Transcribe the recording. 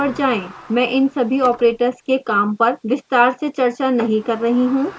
मैं इन सभी operators के काम पर विस्तार से चर्चा नहीं कर रही हूँ